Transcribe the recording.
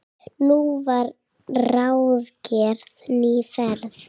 Nú var ráðgerð ný ferð.